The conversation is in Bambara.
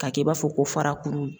K'a kɛ i b'a fɔ ko farakuru.